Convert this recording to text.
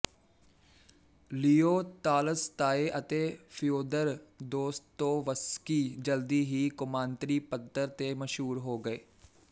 ਲੀਓ Tolstoy ਅਤੇ Fyodor Dostoevsky ਜਲਦੀ ਹੀ ਕੌਮਾਂਤਰੀ ਪੱਧਰ ਤੇ ਮਸ਼ਹੂਰ ਹੋ ਗਏ